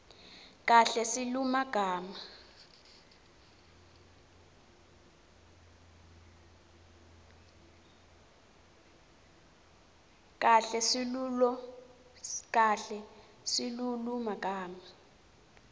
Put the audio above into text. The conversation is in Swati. kahle silulumagama